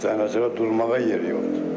Heç dayanacaqda durmağa yer yoxdur.